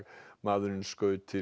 maðurinn skaut